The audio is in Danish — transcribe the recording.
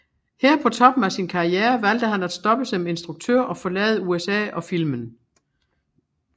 Her på toppen af sin karriere valgte han at stoppe som instruktør og forlade USA og filmen